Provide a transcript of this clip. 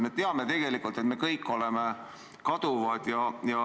Me teame tegelikult, et me kõik oleme kaduvad.